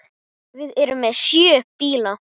Við erum með sjö bíla.